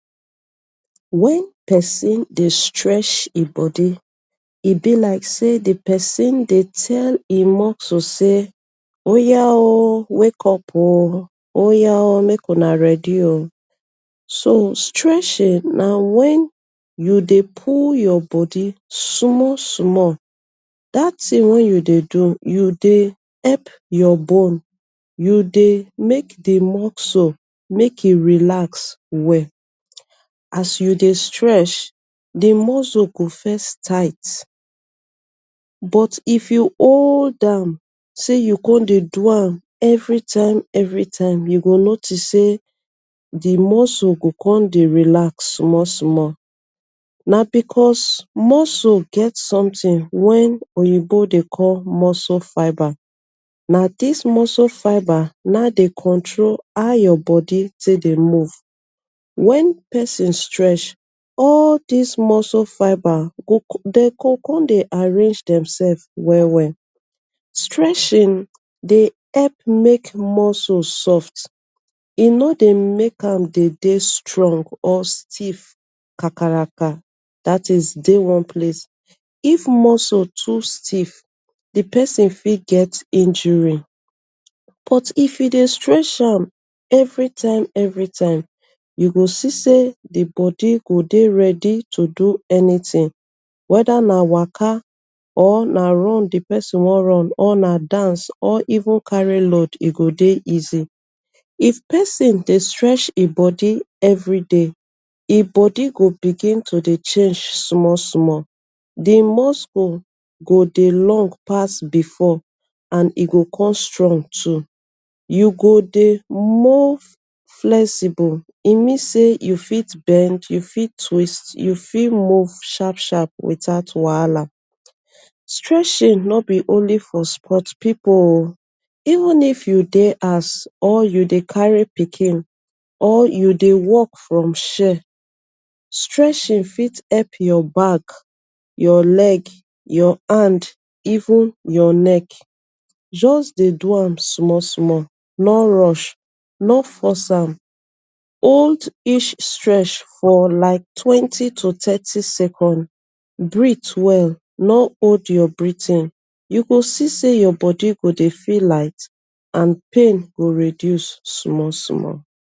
Wen pesin dey stretch e bodi e bi like say di pesin dey tell him muscle say, oya o, wake up o, oya o mek una ready o. So stretching na wen you dey pull your bodi small-small dat tin wey you dey do you dey hep your bone you dey mek di muscle mek im relax well as you dey stretch di muscle go first tight but if you hold am. Say you con dey do am every time-every time you go notice say di muscle go come dey relax small-small. Na because muscle get somtin wen oyinbo dey call muscle fiber na dis muscle fiber na dey control how your bodi tek dey move. Wen pesin stretch all dis muscle fiber dey con dey arrange dem sef well-well. Stretching dey hep mek muscle soft e no dey mek am dey dey strong or stiff kakaraka dat is dey one place. If muscle too stif di pesin fi get injury but if you dey stretch am evertime-evertime you go see say di bodi go dey ready to do any tin weda na waka or na run di pesin won run or na dance or even carry load e go dey easy. If pesin dey stretch e bodi every day. Im bodi go begin to dey change small-small. Di muscle go dey long pass bifor and e go con strong too. You go dey move flexible e mean say you fit bend, you fit twist, you fit move sharp-sharp wit out wahala, stretching no be only for spot pipu o even if you dey house or you dey kari pikin or you dey wok from shell, stretching fit hep your back, your leg, your hand, even your neck, juss dey do am small-small no rush, no force am, hold each stretch for like twenty to thirty seconds, breathe well no hold your breathing. You go dey see your bodi go dey feel light and pain go reduce small-small.